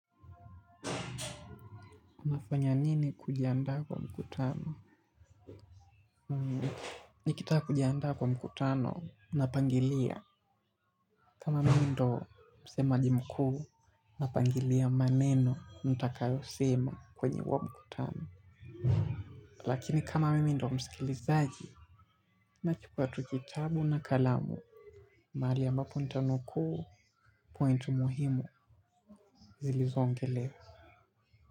Unafanya nini kujianda kwa mkutano? Nikitaka kujianda kwa mkutano, napangilia. Kama mimi ndo msemaji mkuu, napangilia maneno, ntakayo sema kwenye huo mkutano. Lakini kama mimi ndo msikilizaji, nachukua tu kitabu na kalamu. Mahali ambapo nitanukuu, pointu muhimu zilizoongelewa.